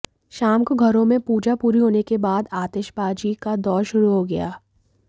शाम को घरों में पूजा पूरी होने के बाद आतिशबाजी का दौर शुरू हो गया